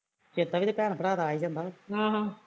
ਚੇਤਾ ਵੀ ਤੇ ਭੈਣ ਭਰਾ ਦਾ ਆ ਈ ਜਾਂਦਾ ਵਾ